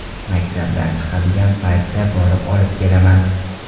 Maktabdan chiqadigan paytda borib olib kelaman.